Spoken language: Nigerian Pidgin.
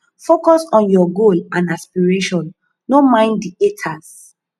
focus on your goal and aspiration no mind di haters